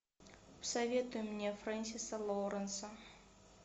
посоветуй мне френсиса лоуренса